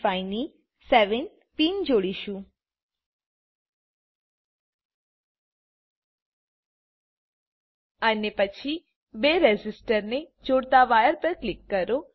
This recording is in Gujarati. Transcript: આઇસી 555 ની 7 પિન પર ક્લિક કરો અને પછી બે રેઝિસ્ટરને જોડતા વાયર પર ક્લિક કરો